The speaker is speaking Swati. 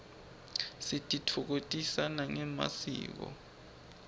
sititfokotisa nangemasiko